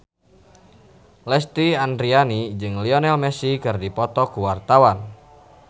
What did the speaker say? Lesti Andryani jeung Lionel Messi keur dipoto ku wartawan